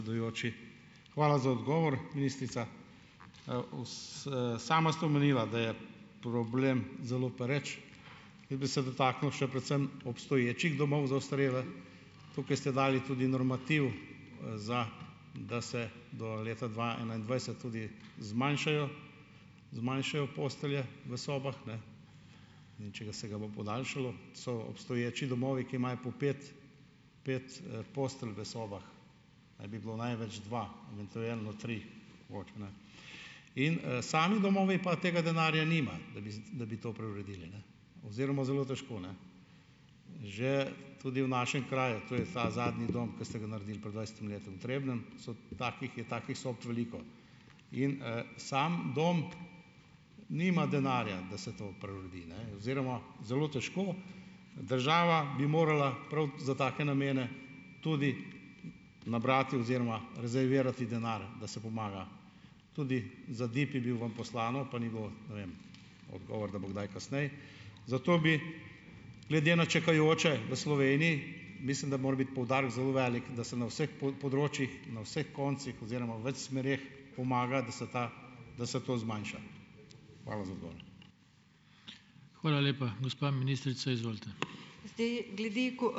Hvala za odgovor, ministrica. Sama ste omenila, da je problem zelo pereč in bi se dotaknil še predvsem obstoječih domov za ostarele. Tukaj ste dali tudi normativ, za, da se do leta dva enaindvajset tudi zmanjšajo, zmanjšajo postelje v sobah, ne. Edino če ga, se ga bo podaljšalo. So obstoječi domovi, ki imajo po pet, pet, postelj v sobah. Naj bi bilo največ dva, eventualno tri - mogoče, ne. In, sami domovi pa tega denarja nimajo, da bi da bi to preuredili, ne, oziroma zelo težko, ne. Že tudi v našem kraju - to je za zadnji dom, ki ste ga naredili pred dvajsetimi leti, v Trebnjem so takih, je takih sob veliko. In, sam dom nima denarja, da se to preuredi, ne, oziroma zelo težko. Država bi morala prav za take namene tudi nabrati oziroma rezervirati denar, da se pomaga. Tudi za DIB je bil vam poslano, pa ni bilo, ne vem, odgovor, da bo kdaj kasneje. Zato bi glede na čakajoče v Sloveniji, mislim, da mora biti poudarek zelo velik, da se na vseh področjih, na vseh koncih oziroma v več smereh pomaga, da se ta, da se to zmanjša. Hvala za odgovor.